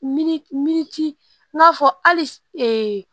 Mi mi n'a fɔ hali s